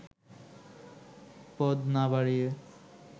পদ না বাড়িয়ে